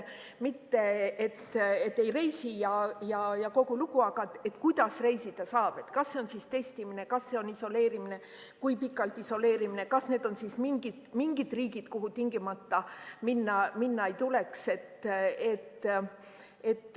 Mitte et ei reisi ja kogu lugu, vaid kuidas reisida saab – kas see on testimine, kas see on isoleerimine, kui pikalt isoleerimine, kas need on mingid riigid, kuhu tingimata minna ei tuleks.